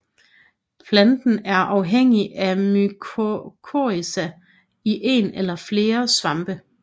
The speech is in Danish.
Planten er afhængig af mykorrhiza en én eller fler svampe